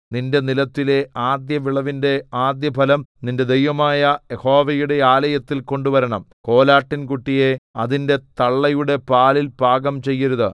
നിന്റെ നിലത്തിലെ ആദ്യവിളവിന്റെ ആദ്യഫലം നിന്റെ ദൈവമായ യഹോവയുടെ ആലയത്തിൽ കൊണ്ടുവരണം കോലാട്ടിൻകുട്ടിയെ അതിന്റെ തള്ളയുടെ പാലിൽ പാകം ചെയ്യരുത്